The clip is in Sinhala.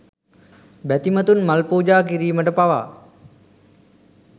බැතිමතුන් මල් පුජා කිරීමට පවා